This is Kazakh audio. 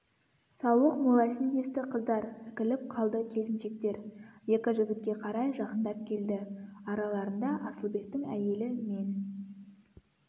сауық молайсын десті қыздар іркіліп қалды келіншектер екі жігітке қарай жақындап келді араларында асылбектің әйелі мен